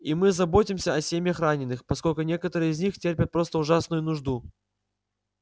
и мы заботимся о семьях раненых поскольку некоторые из них терпят просто ужасную нужду